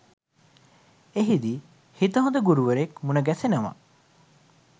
එහිදී හිත හොඳ ගුරුවරයෙක් මුණ ගැසෙනවා.